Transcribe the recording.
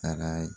Taara